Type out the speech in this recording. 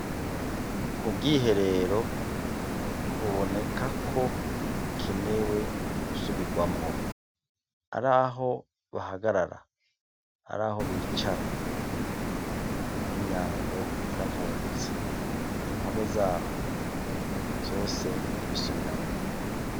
Ubwiherero bubonekako bukenewe gusubirwamwo haraho bahagara, haraho bicara n'imyango yaramvungutse impome zaho ; vyose n'ukubisubiramwo.